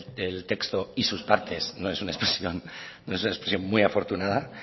el texto y sus partes no es una expresión no es una expresión muy afortunada